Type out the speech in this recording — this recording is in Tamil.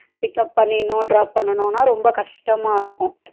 Pickup பண்ணிருனும் drop பண்ணனும்னா ரொம்ப கஷ்டமா இருக்கும்